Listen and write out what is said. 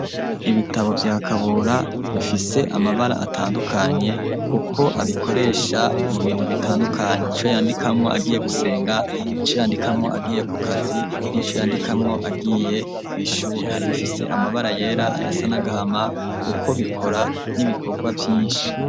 Ibitabo vya Kabura bifise amabara atandukanye kuko abikoresha mu bintu bitandukanye, ico yandikamwo agiye gusenga, ico yandikamwo agiye ku kazi nico yandikamwo agiye kw'ishure. Hari ubifise amabara yera, ayasa n'agahama kuko bikora n'ibikorwa vyinshi.